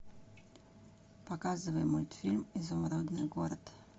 показывай мультфильм изумрудный город